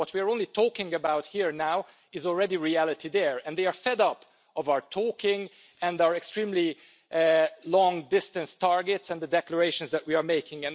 What we are only talking about here now is already reality there, and they are fed up with our talking and our extremely long-distance targets and the declarations that we are making.